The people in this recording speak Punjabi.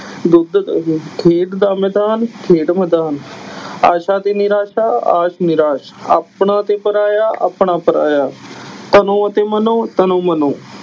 ਦੁੱਧ ਦਹੀਂ, ਖੇਡ ਦਾ ਮੈਦਾਨ ਖੈਡ ਮੈਦਾਨ, ਆਸਾ ਤੇ ਨਿਰਾਸ ਆਸ ਨਿਰਾਸ, ਆਪਣਾ ਤੇ ਪਰਾਇਆ ਆਪਣਾ ਪਰਾਇਆ, ਤਨੋਂ ਅਤੇ ਮਨੋਂ ਤਨੋ ਮਨੋ